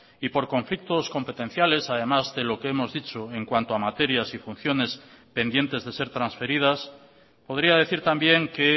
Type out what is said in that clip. y por conflictos competenciales además de lo que hemos dicho en cuanto a materias y funciones pendientes de ser transferidas podría decir también que